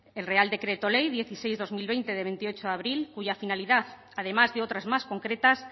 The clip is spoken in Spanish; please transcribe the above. el real decreto ley dieciséis barra dos mil veinte de veintiocho abril cuya finalidad además de otras más concretas